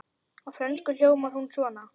Á frönsku hljómar hún svona